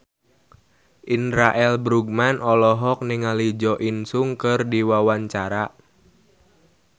Indra L. Bruggman olohok ningali Jo In Sung keur diwawancara